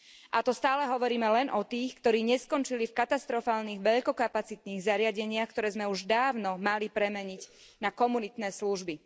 A to stále hovoríme len o tých, ktorí neskončili v katastrofálnych veľkokapacitných zariadeniach, ktoré sme už dávno mali premeniť na komunitné služby.